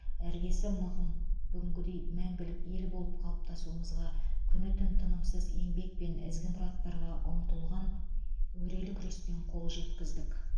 іргесі мығым бүгінгідей мәңгілік ел болып қалыптасуымызға күн түн тынымысыз еңбек пен ізгі мұраттарға ұмтылған өрелі күреспен қол жеткіздік